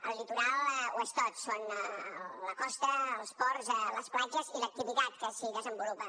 el litoral ho és tot són la costa els ports les platges i l’activitat que s’hi desenvolupa